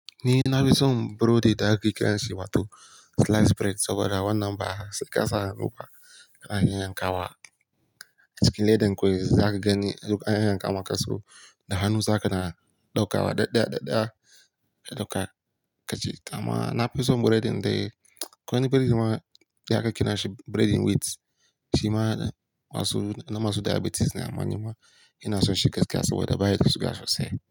Ni na fi son burodi da aka kiran shi wato sliced bread saboda wannan ba sai sa hannu ba, ana iya yankawa a cikin ledan kwai za ka gani duk an yayanka maka su. Da hannu za ka na ɗauka wa ɗaɗɗaya ɗaɗɗaya. Lokaci amma na fi son burodin dai akwani burodi ma da aka ƙyana shi burodin wheat shi ma na masu na masu diabetes na amma ni ma ina son shi gaskiya saboda ba ya da sugar sosai.